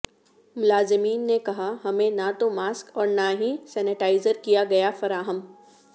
ملازمین نے کہا ہمیںنہ توماسک اور نہ ہی سینیٹائزرکیاگیافراہم